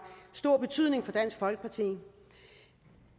stor betydning for dansk folkeparti